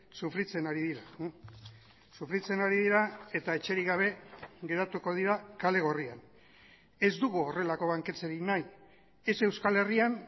sufritzen ari dira sufritzen ari dira eta etxerik gabe geratuko dira kale gorrian ez dugu horrelako banketxerik nahi ez euskal herrian